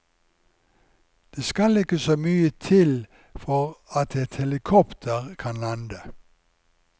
Det skal ikke så mye til for at et helikopter kan lande.